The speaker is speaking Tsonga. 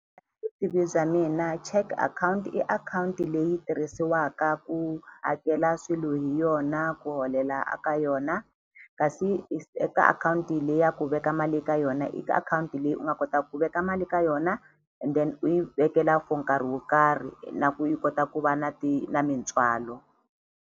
Vutivi bya mina check akhawunti i akhawunti leyi tirhisiwaka ku hakela swilo hi yona ku holela a ka yona kasi eka akhawunti le ya ku veka mali eka yona i akhawunti leyi u nga kota ku veka mali ka yona and then u yi vekela for nkarhi wo karhi na ku yi kota ku va na na mitswalo.